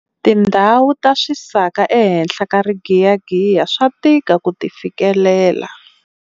Tindhawu ta swisaka ehenhla ka rigiyagiya swa tika ku ti fikelela.